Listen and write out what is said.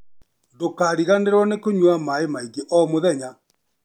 Ndũkariganĩrũo nĩ kũnyua maaĩ maingĩ o mũthenya.